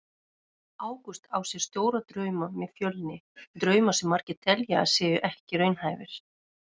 Ágúst á sér stóra drauma með Fjölni, drauma sem margir telja að séu ekki raunhæfir.